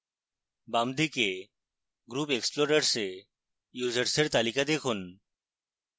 বাম দিকে group explorers এ users এর তালিকা দেখুন